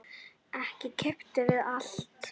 Ekki keppt við alla?